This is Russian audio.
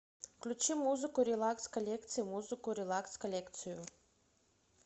включи музыку релакс коллекции музыку релакс коллекцию